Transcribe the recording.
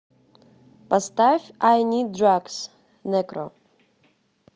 поставь ай нид драгс некро